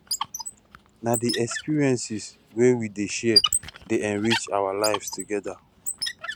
na di experiences wey we dey share dey enrich our lives together